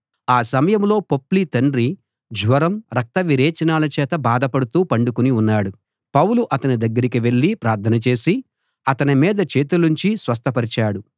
ఆ సమయంలో పొప్లి తండ్రి జ్వరం రక్త విరేచనాల చేత బాధపడుతూ పండుకుని ఉన్నాడు పౌలు అతని దగ్గరికి వెళ్ళి ప్రార్థన చేసి అతని మీద చేతులుంచి స్వస్థపరిచాడు